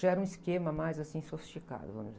Já era um esquema mais, assim, sofisticado, vamos dizer...